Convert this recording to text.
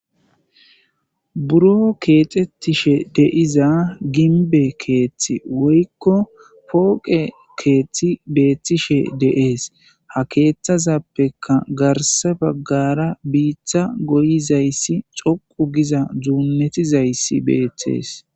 Buro keexettishe deiza ginbe keeththi woykko pooqe keeththi beethtishe deees ha keeththazappeka garse baggara biiththa goyizayssi coqu giza dzuunnetizayssi betes